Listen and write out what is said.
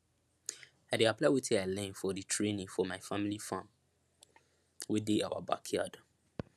i dey apply wetin i learn for di training for my family farm wey dey awa backyard